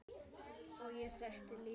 Og ég setti lítið